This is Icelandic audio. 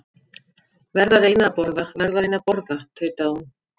Verð að reyna að borða, verð að reyna að borða tautaði hún.